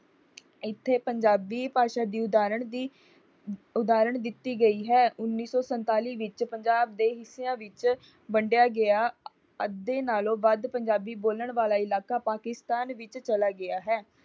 ਇੱਥੇ ਪੰਜਾਬੀ ਭਾਸ਼ਾ ਦੀ ਉਦਾਹਰਣ ਦੀ ਉਦਾਹਰਣ ਦਿੱਤੀ ਗਈ ਹੈ। ਉੱਨੀ ਸੌ ਸਤਾਂਲੀ ਵਿੱਚ ਪੰਜਾਬ ਦੋ ਹਿੱਸਿਆਂ ਵਿੱਚ ਵੰਡਿਆ ਗਿਆ । ਅੱਧੇ ਨਾਲੋਂ ਵੱਧ ਪੰਜਾਬੀ ਬੋਲਣ ਵਾਲਾ ਇਲਾਕਾ ਪਾਕਿਸਤਾਨ ਵਿੱਚ ਚਲਾ ਗਿਆ ਹੈ।